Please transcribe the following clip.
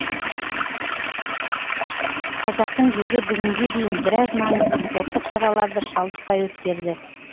қазақтың жері бүгінге дейін біраз маңызды спорттық шараларды шалдықпай өткерді